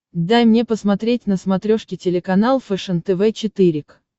дай мне посмотреть на смотрешке телеканал фэшен тв четыре к